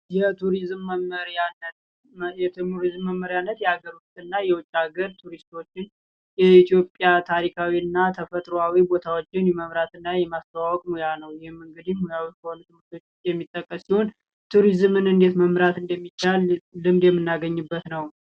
የቱሪዝም መመሪያነት የቱሪዝም መመሪያነት የሀገር ውስጥና የውጭ ሃገር ቱሪስቶችን የኢትዮጵያ ታሪካዊ እና ተፈጥሯዊ ቦታዎችን የመምራት እና የማስተዋወቅ ሙያ ነው። ይህ እንግዲህ የሚጠቀስ ሲሆን፤ ቱሪዝምን እንዴት መምራት እንደሚቻል ልምድ የምናገኝበት ነው።